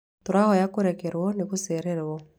Tũrahoya kũrekerũo nĩ gũcererũo.